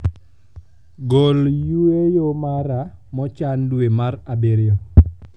gol yueyo mara mochan dwe mar abirio